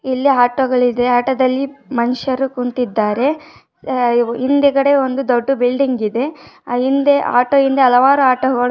ಇಲ್ಲಿ ಆಟೋ ಉಳಿದೆ ಆಟೋ ದಲ್ಲಿ ಮನುಷ್ಯರು ಕುಂತಿದ್ದಾರೆ ಹಿಂದೆಗಡೆ ಒಂದು ದೊಡ್ಡ ಬಿಲ್ಡಿಂಗ್ ಇದೆ ಹಿಂದೆ ಆ ಆಟೋ ಹಿಂದೆ ಹಲವಾರು ಆಟೋ --